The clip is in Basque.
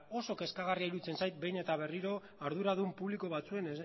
oso kezkagarria iruditzen zait behin eta berriro arduradun publiko batzuen